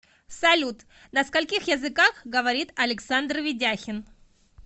салют на скольких языках говорит александр ведяхин